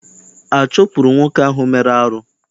A chụpụrụ nwoke ahụ mere arụ?